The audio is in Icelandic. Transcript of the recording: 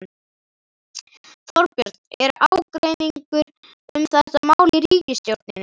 Þorbjörn: Er ágreiningur um þetta mál í ríkisstjórninni?